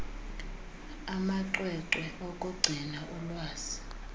amacwecwe okugcina ulwazi